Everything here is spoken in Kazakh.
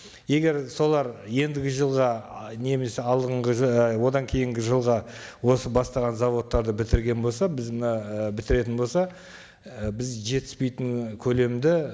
егер солар ендігі жылға алдынғы ы одан кейінгі жылға осы бастаған зауыттарды бітірген болса біз мына і бітіретін болса і біз жетіспейтін көлемді